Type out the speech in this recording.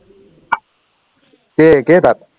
কেই কেইটাত